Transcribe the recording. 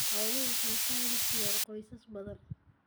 Xooluhu waxay dakhli siiyaan qoysas badan.